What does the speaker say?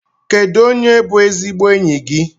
Kedu onye bú ezigbo enyi gị?